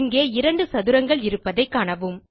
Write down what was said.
இங்கே 2 சதுரங்கள் இருப்பதைக் காணவும்